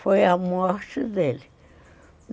Foi a morte dele.